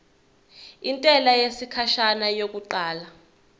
intela yesikhashana yokuqala